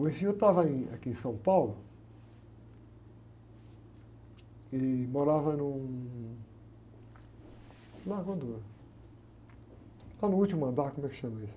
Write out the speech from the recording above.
O estava em, aqui em São Paulo e morava num... Como é quando, lá no último andar, como é que chama isso?